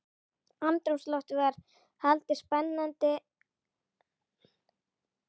Andrúmsloftið var hlaðið spenningi- og friðlausri óþreyju.